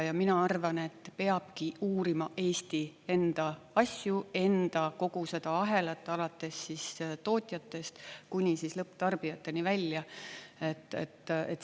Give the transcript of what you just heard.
Ja mina arvan, et peabki uurima Eesti enda asju, enda kogu seda ahelat alates tootjatest kuni lõpptarbijateni välja.